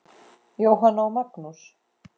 Jóhanna og Magnús.